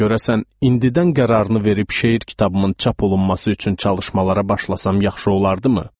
Görəsən indidən qərarını verib şeir kitabımın çap olunması üçün çalışmalara başlasam yaxşı olardımı?